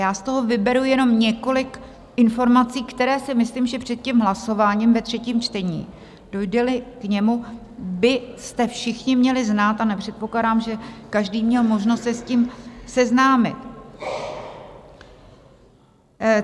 Já z toho vyberu jenom několik informací, které si myslím, že před tím hlasováním ve třetím čtení, dojde-li k němu, byste všichni měli znát, a nepředpokládám, že každý měl možnost se s tím seznámit.